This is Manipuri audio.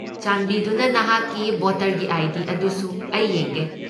ꯆꯥꯟꯕꯤꯗꯨꯅ ꯅꯍꯥꯛꯀꯤ ꯚꯣꯇꯔꯒꯤ ꯑꯥꯏ.ꯗꯤ. ꯑꯗꯨꯁꯨ ꯑꯩ ꯌꯦꯡꯒꯦ꯫